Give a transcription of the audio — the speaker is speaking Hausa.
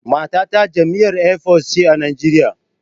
Matata jami'ar Air Force ce a Najeriya